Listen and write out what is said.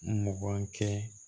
Mugan kɛ